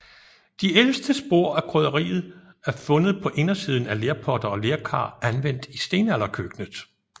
De ældste spor af krydderiet er fundet på indersiden af lerpotter og lerkar anvendt i stenalderkøkkenet